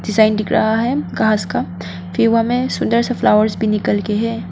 Sign दिख रहा है घास का सुन्दर सा फ्लॉवर्स भी निकल के है।